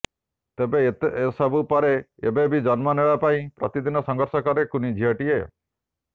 ତେବେ ଏତେ ସବୁ ପରେ ଏବେ ବି ଜନ୍ମ ନେବା ପାଇଁ ପ୍ରତିଦିନ ସଂଘର୍ଷ କରେ କୁନି ଝିଅଟିଏ